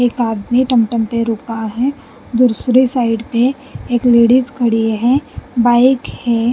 एक आदमी टम-टम पे रुका है दूसरी साइड पे एक लेडिज खड़ी है बाइक है।